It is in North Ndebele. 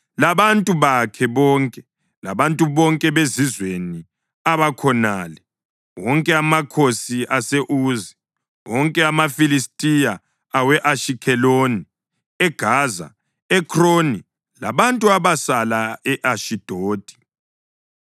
labantu bonke bezizweni abakhonale; wonke amakhosi ase-Uzi; wonke amakhosi amaFilistiya (awe-Ashikheloni, eGaza, e-Ekroni, labantu abasala e-Ashidodi);